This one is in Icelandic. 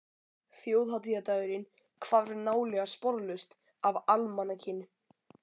Þjóðhátíðardagurinn hvarf nálega sporlaust af almanakinu.